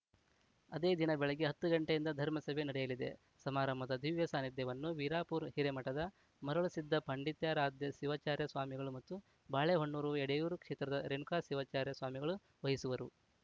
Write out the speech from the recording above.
ಅದೇ ದಿನ ಬೆಳಗ್ಗೆ ಹತ್ತು ಗಂಟೆಯಿಂದ ಧರ್ಮಸಭೆ ನಡೆಯಲಿದೆ ಸಮಾರಂಭದ ದಿವ್ಯ ಸಾನ್ನಿಧ್ಯವನ್ನು ವೀರಾಪುರ ಹಿರೇಮಠದ ಮರುಳಸಿದ್ದ ಪಂಡಿತಾರಾಧ್ಯ ಶಿವಾಚಾರ್ಯ ಸ್ವಾಮಿಗಳು ಮತ್ತು ಬಾಳೆಹೊನ್ನೂರು ಎಡೆಯೂರು ಕ್ಷೇತ್ರದ ರೇಣುಕಾ ಶಿವಾಚಾರ್ಯ ಸ್ವಾಮಿಗಳು ವಹಿಸುವರು